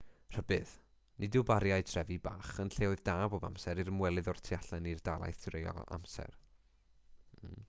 rhybudd nid yw bariau trefi bach yn lleoedd da bob amser i'r ymwelydd o'r tu allan i'r dalaith dreulio amser